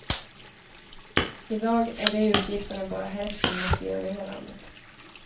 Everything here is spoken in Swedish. I dag är de utgifterna bara hälften mot i övriga landet.